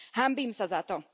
Hanbím sa za to.